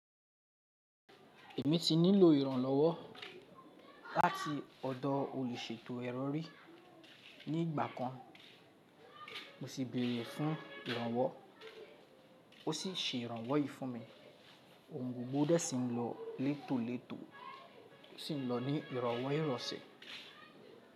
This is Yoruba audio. Èmi ti nílò ìrànlọ́wọ́ láti ọ̀dọ̀ olùṣètò ẹro rí ní ìgbà kan, mo sì béèrè fún ìrànwọ́, ó sì ṣe ìrànwọ́ yìí fún mi. Òun gbogbo dé sí n lọ létólètó, ó sì ń lọ ní ìrowọ́ ìroṣẹ́.